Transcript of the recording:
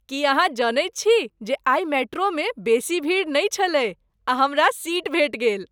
की अहाँ जनैत छी जे आइ मेट्रोमे बेसी भीड़ नहि छलै आ हमरा सीट भेट गेल?